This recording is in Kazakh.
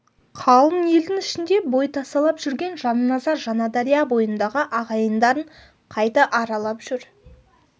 қалың елдің ішінде бой тасалап жүрген жанназар жаңадария бойындағы ағайындарын қайта аралап жүр